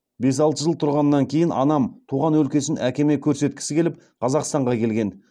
бес алты жыл тұрғаннан кейін анам туған өлкесін әкеме көрсеткісі келіп қазақстанға келген